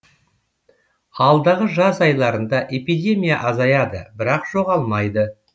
алдағы жаз айларында эпидемия азаяды бірақ жоғалмайды